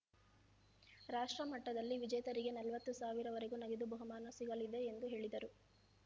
ರಾಷ್ಟ್ರಮಟ್ಟದಲ್ಲಿ ವಿಜೇತರಿಗೆ ನಲವತ್ತು ಸಾವಿರವರೆಗೂ ನಗದು ಬಹುಮಾನ ಸಿಗಲಿದೆ ಎಂದು ಹೇಳಿದರು